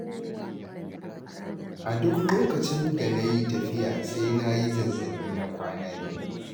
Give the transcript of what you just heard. Duk lokacin da na yi tafiya sai na yi zazzaɓi na kwana biyu.